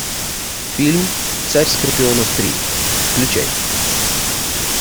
фильм царь скорпионов три включай